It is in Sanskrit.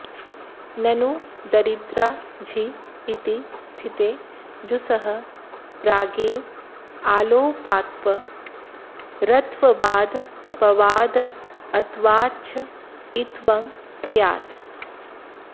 ननु दरिद्रा झि इति स्थिते जुसः प्रागेव आल्लोपात्परत्वादपवादत्वाच्च ईत्वं स्यात्